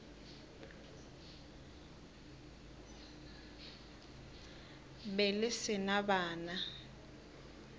be le se na bana